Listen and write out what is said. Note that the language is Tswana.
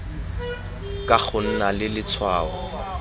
ka go nna le letshwao